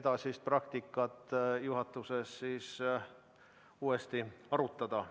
edasist praktikat juhatuses uuesti arutada.